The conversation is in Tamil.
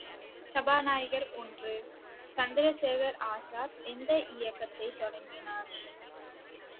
சபாநாயகர் ஒன்று, சந்திரசேகர் ஆசாத் எந்த இயக்கத்தைத் தொடங்கினார்